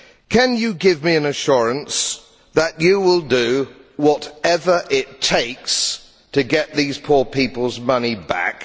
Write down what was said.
Can you give me an assurance that you will do whatever it takes to get these poor people's money back?